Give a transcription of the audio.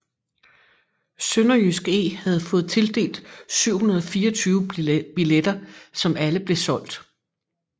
SønderjyskE havde fået tildelt 724 billetter som alle blev solgt